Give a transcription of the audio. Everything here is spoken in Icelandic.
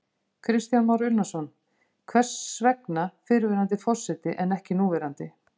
Kristján Már Unnarsson: Hvers vegna fyrrverandi forseti en ekki núverandi?